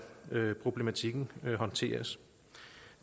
problematikken skal håndteres